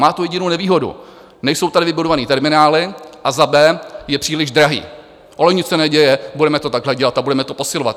Má tu jedinou nevýhodu, nejsou tady vybudované terminály a za b) je příliš drahý, ale nic se neděje, budeme to takhle dělat a budeme to posilovat.